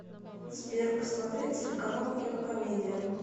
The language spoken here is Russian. сбер посмотреть телеканал кинокомедия